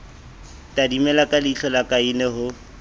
tadimile ka leihlola kaine ho